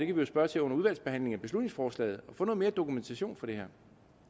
jo spørge til under udvalgsbehandlingen af beslutningsforslaget få noget mere dokumentation for det her